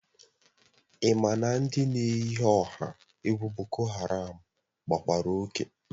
Ị ma na ndị na-eyi ọha egwu boko haram gbawara oke